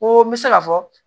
Ko n bɛ se ka fɔ